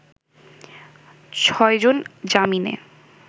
ছয়জন জামিনে